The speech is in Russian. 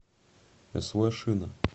св шина